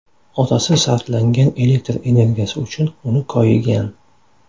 Otasi sarflangan elektr energiyasi uchun uni koyigan.